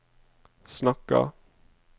snakker